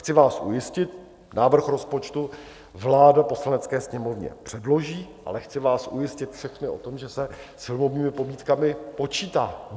Chci vás ujistit, návrh rozpočtu vláda Poslanecké sněmovně předloží, ale chci vás ujistit všechny o tom, že se s filmovými pobídkami počítá.